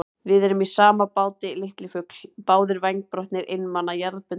Við erum í sama báti, litli fugl, báðir vængbrotnir, einmana, jarðbundnir.